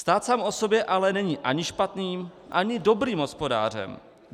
Stát sám o sobě ale není ani špatným ani dobrým hospodářem.